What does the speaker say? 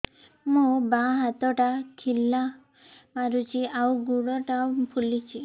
ମୋ ବାଆଁ ହାତଟା ଖିଲା ମାରୁଚି ଆଉ ଗୁଡ଼ ଟା ଫୁଲୁଚି